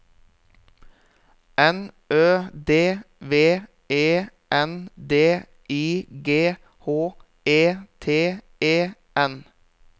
N Ø D V E N D I G H E T E N